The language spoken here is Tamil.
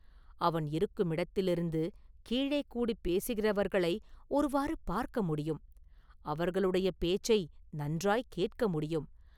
அவன் இருக்குமிடத்திலிருந்து கீழே கூடிப் பேசுகிறவர்களை ஒருவாறு பார்க்க முடியும்; அவர்களுடைய பேச்சை நன்றாய்க் கேட்க முடியும்.